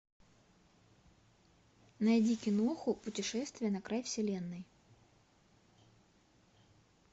найди киноху путешествие на край вселенной